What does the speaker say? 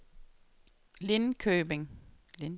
Linköping